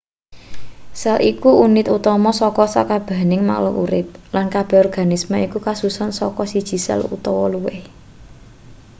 sel iku unit utama saka sakabehing makhluk urip lan kabeh organisme iku kasusun saka siji sel utawa luwih